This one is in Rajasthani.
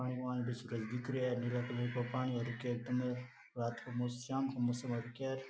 आसमान साफ दिख रहा है नीला कलर का पानी दिख रहा है शाम को मौसम हु रखयो है।